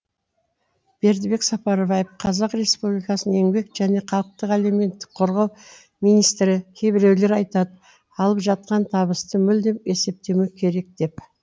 бердібек сапарбаев қазақ республикасының еңбек және халықтық әлеуметтік қорғау министрі кейбіреулері айтады алып жатқан табысты мүлдем есептемеу керек деп